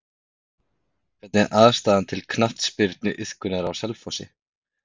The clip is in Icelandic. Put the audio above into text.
Hvernig er aðstaða til knattspyrnuiðkunar á Selfossi?